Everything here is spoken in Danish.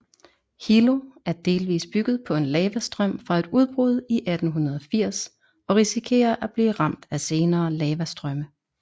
Hilo er delvis bygget på en lavastrøm fra et udbrud i 1880 og risikerer at blive ramt af senere lavastrømme